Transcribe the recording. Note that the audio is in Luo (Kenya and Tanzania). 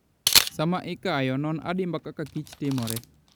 Sama ikayo, non adimba kaka kich timore.